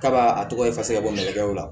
K'a b'a a tɔgɔ ye bɔ mɔkɛw la